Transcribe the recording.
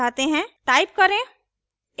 type करें